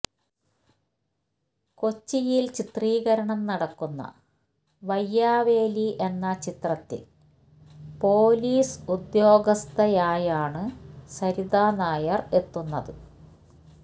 കൊച്ചിയില് ചിത്രീകരണം നടക്കുന്ന വയ്യാവേലി എന്ന ചിത്രത്തില് പോലീസ് ഉദ്യോഗസ്ഥയായാണ് സരിതാ നായര് എത്തുന്നത്